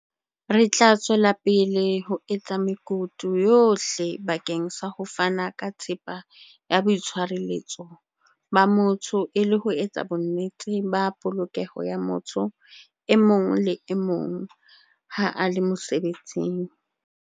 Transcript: "Re tla tswela pele ho etsa mekutu yohle bakeng sa ho fana ka thepa ya boitshire-letso ba motho e le ho etsa bonnete ba polokeho ya motho e mong le e mong ha a le mosebetsing."